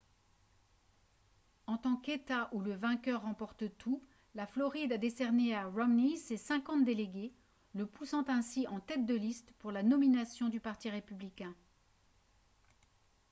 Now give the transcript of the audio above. en tant qu'état où le vainqueur remporte tout la floride a décerné à romney ses cinquante délégués le poussant ainsi en tête de liste pour la nomination du parti républicain